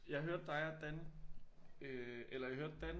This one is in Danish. Jeg hørte dig og Dan øh eller jeg hørte Dan